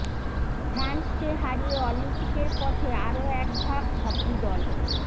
ফ্রান্সকে হারিয়ে অলিম্পিকের পথে আরও এক ধাপ হকি দল